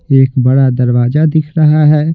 एक बड़ा दरवाजा दिख रहा है।